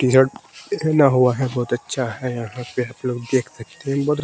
T shirt हुआ है बहुत अच्छा है यहां पे आप लोग देख सकते हैं --